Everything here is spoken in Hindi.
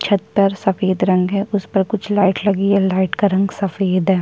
छत पर सफेद रंग है उस पर कुछ लाइट लगी है लाइट का रंग सफेद है ।